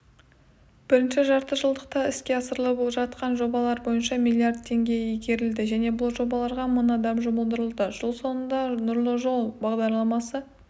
бірінші жартыжылдықта іске асырылып жатқан жобалар бойынша миллиард теңге игерілді және бұл жобаларға мың адам жұмылдырылды жыл соңында нұрлы жол бағдарламасы